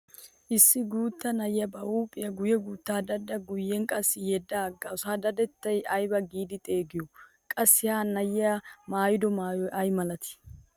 Issi guutta na'ay ba huuphiya guyye guuttaa daddada guyyen qassi yedda aggaasu ha dadettaa ayba giidi xeegiyo? Qassi ha na'iya maayido maayoy ay malatii?